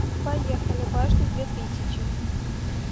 поехали башня две тысячи